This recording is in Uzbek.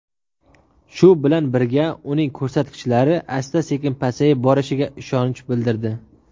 shu bilan birga uning ko‘rsatkichlari asta-sekin pasayib borishiga ishonch bildirdi.